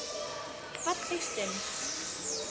Falleg stund.